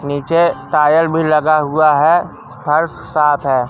नीचे टायर भी लगा हुआ है फर्श साफ है।